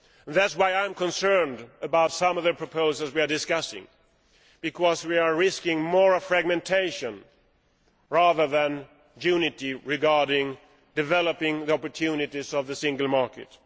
That is why I am concerned about some of the proposals we are discussing, because we are risking more fragmentation rather than unity regarding developing the opportunities of the single market.